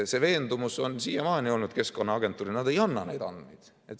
See veendumus on siiamaani olnud Keskkonnaagentuuril, et nad ei anna neid andmeid.